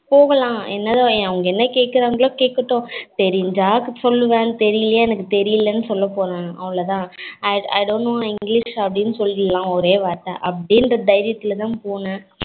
போகல்லாம் என்னதோ என்ன அவங்க என்ன கேக்குறங்களோ கேக்கட்டும் தெரிஞ்சா சொல்லுவன் தெரியலயா எனக்கு தெரியலனு சொல்ல போறேன் அவளோதான் i don't know english அப்படினு சொல்லீரலாம் ஒரே வார்த்த அப்டின்ற தைரியதுல தான் போனேன்